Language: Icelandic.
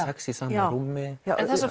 já þessar